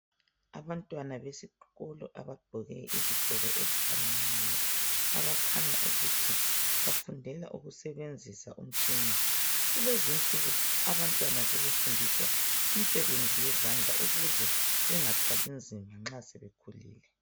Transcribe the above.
Abantwana besikolo abagqoke izigqoko ezifananayo abakhanya ukuthi bafundela ukusebenzisa imitshina .Kulezi insuku abantwana sebefundiswa imisebenzi yezandla ukuze bengathwali nzima nxa sebekhulile.